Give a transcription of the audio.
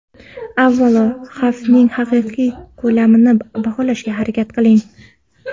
Avvalo, xavfning haqiqiy ko‘lamini baholashga harakat qiling.